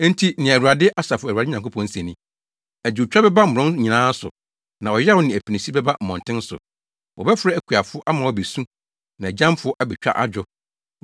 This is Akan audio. Enti nea Awurade, Asafo Awurade Nyankopɔn se ni: “Adwotwa bɛba mmorɔn nyinaa so na ɔyaw ne apinisi bɛba mmɔnten so. Wɔbɛfrɛ akuafo ama wɔabesu na agyamfo abetwa adwo.